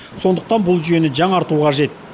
сондықтан бұл жүйені жаңарту қажет